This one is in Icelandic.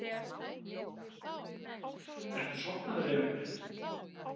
Ertu sofnaður, Emil minn?